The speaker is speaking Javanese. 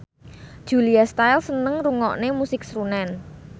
Julia Stiles seneng ngrungokne musik srunen